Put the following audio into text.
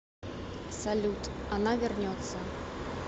салют она вернется